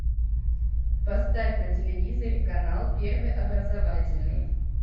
поставь на телевизоре канал первый образовательный